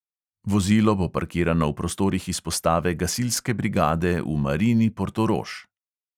Vozilo bo parkirano v prostorih izpostave gasilske brigade v marini portorož.